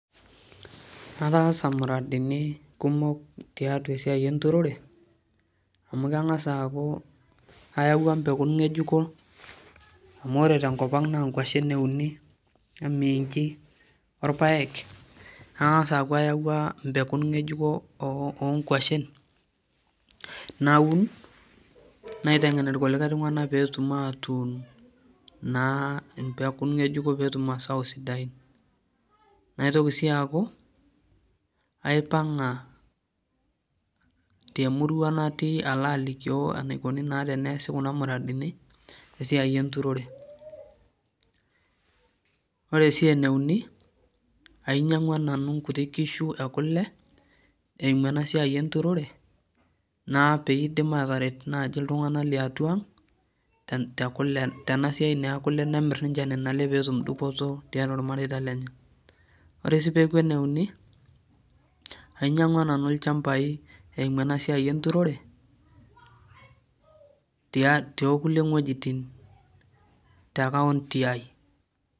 Ataasa muradini kumok tiatua esiai enturore amu kengas aaku ayau mpekun ngejuko amu ore tenkopanga naa kwashen euni, omiinchi, orpaek nangas aaku ayaua mpekun ngejuko oonkwashen naun naitengen irkulikae tunganak pee etumoki aatun naa mpekun ngejuko pee etum masao sidain. naitoki sii aaku aipanga temurua natii alo aliki enikoni naa teneasi kuna muradini esiai enturore. ore sii eneuni ainyangua nanu nkuti kishu enkule eimu enturore naa pee eidim naaji ataret iltunganak liatua ang tena siai naa ekule pee emir ninche nena lee pee etum dupoto tiatua irmareita lenye .ore sii peeku eneuni ainyangua nanu ilchampai eimu ena turote tookulie ngejiti tenkaonty ai.